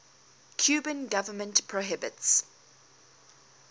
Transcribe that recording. cuban government prohibits